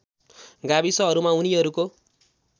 गाविसहरूमा उनीहरूको